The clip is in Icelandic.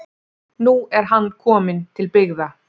Nú er hann kominn til byggða